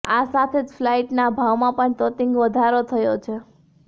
આ સાથે જ ફ્લાઈટના ભાવમાં પણ તોતિંગ વધારો થયો છે